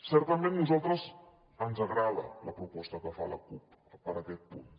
certament a nosaltres ens agrada la proposta que fa la cup per aquest punt